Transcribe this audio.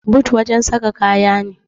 but wajen saka kaya ne